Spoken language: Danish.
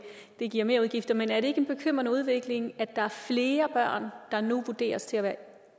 giver merudgifter men er det ikke en bekymrende udvikling at der er flere der nu vurderes til at være